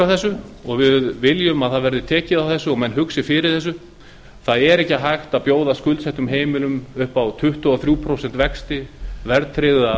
þessu og viljum að tekið verði á þessu og að menn hugsi fyrir þessu það er ekki hægt að bjóða skuldsettum heimilum upp á tuttugu og þrjú prósent vexti verðtryggða